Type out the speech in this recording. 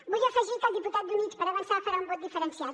vull afegir que el diputat d’units per avançar farà un vot diferenciat